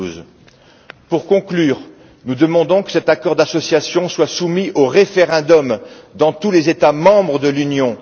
2012. Pour conclure, nous demandons que cet accord d'association soit soumis au référendum dans tous les États membres de l'Union.